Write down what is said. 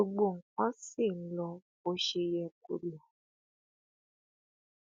gbogbo nǹkan ṣì ń lọ bó ṣe yẹ kó lọ